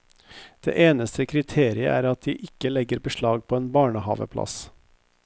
Det eneste kriteriet er at de ikke legger beslag på en barnehaveplass.